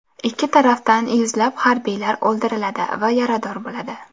Ikki tarafdan yuzlab harbiylar o‘ldiriladi va yarador bo‘ladi.